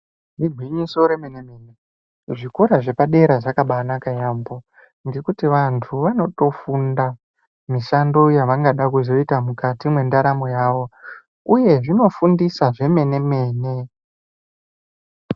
Igwinyiso remene mene, zvikora zvepadera zvakaba anaka yeyambo kuti vantu vanotofunda mishando yavanoda kuzoita mukati mwendaramo yavo uye zvinofundisa zvemene mene.